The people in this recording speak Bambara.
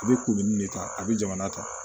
A bɛ kurumin de ta a bɛ jamana ta